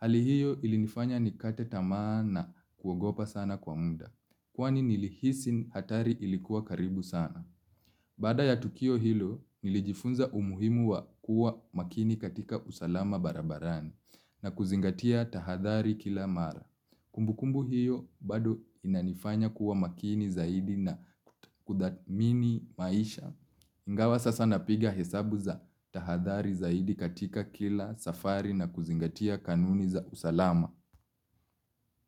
Hali hiyo ilinifanya nikate tamaa na kuogopa sana kwa muda. Kwani nilihisi hatari ilikuwa karibu sana. Baada ya tukio hilo nilijifunza umuhimu wa kuwa makini katika usalama barabarani. Na kuzingatia tahadhari kila mara. Kumbu kumbu hiyo bado inanifanya kuwa makini zaidi na kudathmini maisha. Ingawa sasa napiga hesabu za tahadhari zaidi katika kila safari na kuzingatia kanuni za usalama.